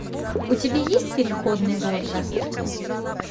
у тебя есть переходный возраст